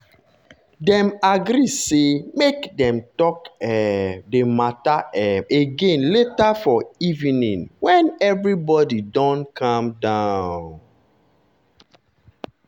dem agree say make dem talk um the matter um again later for evening when everybody don calm down.